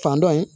Fan dɔ in